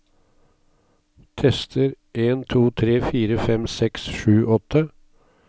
Tester en to tre fire fem seks sju åtte